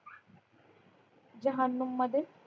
जहानुम मध्ये